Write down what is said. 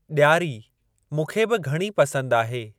ॾियारी मूंखे बि घणी पसंद आहे।